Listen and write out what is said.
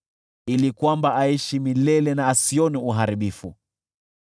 ili kwamba aishi milele na asione uharibifu.